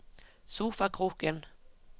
sofakroken